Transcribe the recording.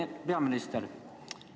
Hea peaminister!